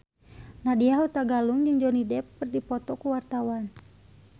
Nadya Hutagalung jeung Johnny Depp keur dipoto ku wartawan